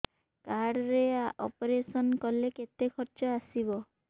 card ରେ operation କଲେ କେତେ ଖର୍ଚ ଆସିବ